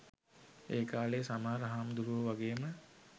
ඒකාලෙ සමහර හාමුදුරුවො වගේම